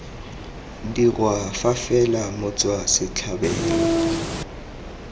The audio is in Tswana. dirwa fa fela motswa setlhabelo